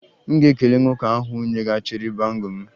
M ga-ekele nwoke ahụ nyeghachiri bangle m